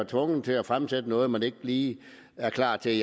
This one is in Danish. tvunget til at fremsætte noget man ikke lige er klar til